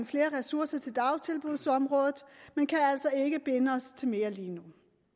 flere ressourcer til dagtilbudsområdet men kan altså ikke binde os til mere lige nu